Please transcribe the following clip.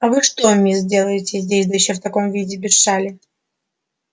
а вы что мне сделаете здесь да ещё в таком виде без шали